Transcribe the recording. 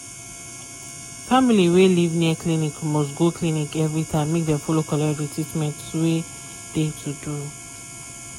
family wey live near clinic must go clinic every time make dem follow collect treatment wey dey to do.